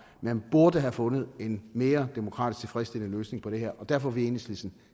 man burde have fundet en mere demokratisk tilfredsstillende løsning på det her og derfor vil enhedslisten